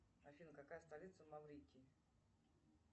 афина какая столица в маврикии